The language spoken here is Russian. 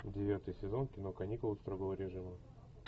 девятый сезон кино каникулы строгого режима